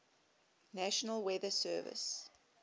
national weather service